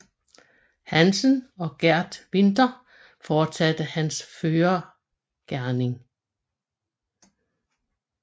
Hansen og Geert Winther fortsatte hans førergerning